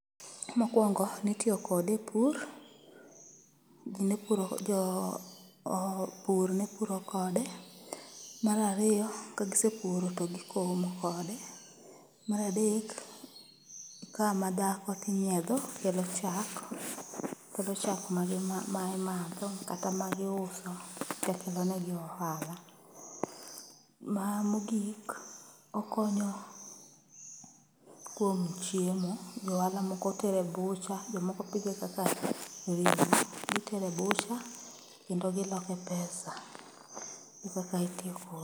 Mokwongo nitiyokode e pur, ji ne puro, jo pur ne puro kode. Marariyo, kagisepuro to gikomo kode. Maradek, ka madhako tinyiedho kelo chak, kelo chak ma imadho kata ma giuso tek kelo negi ohala. Ma, mogik, okonyo kuom chiemo johala moko tere bucha, jomoko pidhe kaka ring'o. Gitere bucha kendo giloke pesa, e kaka itiyo kode.